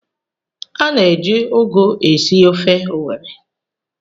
A na-eji ụgụ esi ofe owerri